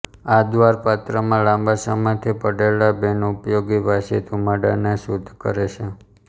આ દ્વાર પાત્રમાં લાંબા સમયથી પડેલા બિનઉપયોગી વાસી ધુમાડાને શુદ્ધ કરે છે